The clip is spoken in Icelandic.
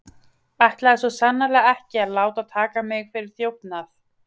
Ætlaði svo sannarlega ekki að láta taka mig fyrir þjófnað.